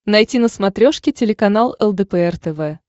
найти на смотрешке телеканал лдпр тв